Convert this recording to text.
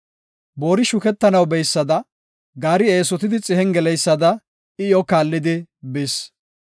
Boori shukettanaw beysada, gaari eesotidi xihen geleysada, I iyo kaallidi bis.